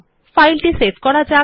ফাইলটি সেভ করা যাক